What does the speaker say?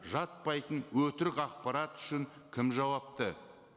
жатпайтын өтірік ақпарат үшін кім жауапты